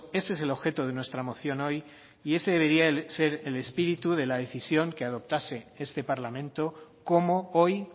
ese es el objeto de nuestra moción hoy y ese debería de ser el espíritu de la decisión que adoptase este parlamento como hoy